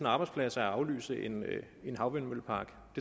arbejdspladser at aflyse en havvindmøllepark